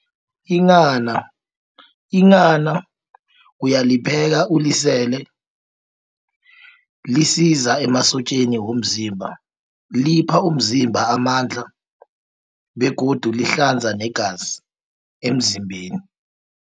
Inghana, uyalipheka ulisele, lisiza emasotjeni womzimba. Lipha umzimba amandla, begodu lihlanza negazi emzimbeni.